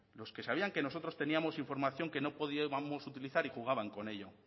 los que sabían que nosotros teníamos información que no podíamos utilizar y jugaban con ello